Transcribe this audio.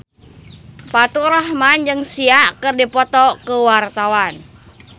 Faturrahman jeung Sia keur dipoto ku wartawan